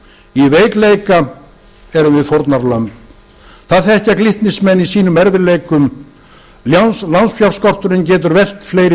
í veikleika erum við fórnarlömb það þekkja glitnismenn í sínum erfiðleikum lánsfjárskorturinn getur velt fleiri